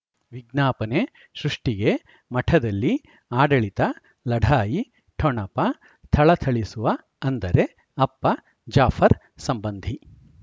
ವಿಜ್ಞಾಪನೆ ಸೃಷ್ಟಿಗೆ ಮಠದಲ್ಲಿ ಆಡಳಿತ ಲಢಾಯಿ ಠೊಣಪ ಥಳಥಳಿಸುವ ಅಂದರೆ ಅಪ್ಪ ಜಾಫರ್ ಸಂಬಂಧಿ